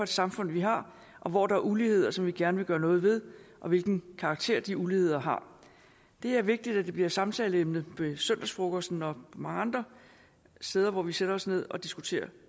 samfund vi har og hvor der er uligheder som vi gerne vil gøre noget ved og hvilken karakter de uligheder har det er vigtigt at det bliver et samtaleemne ved søndagsfrokosten og mange andre steder hvor vi sætter os ned og diskuterer